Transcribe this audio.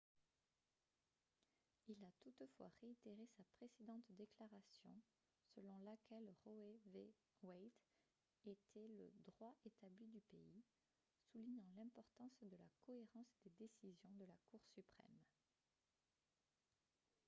il a toutefois réitéré sa précédente déclaration selon laquelle roe v. wade était le « droit établi du pays » soulignant l’importance de la cohérence des décisions de la cour suprême